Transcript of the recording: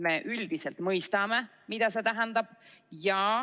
Me üldiselt mõistame, mida see tähendab.